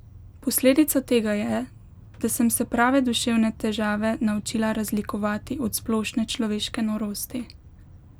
Posledica tega je, da sem se prave duševne težave naučila razlikovati od splošne človeške norosti.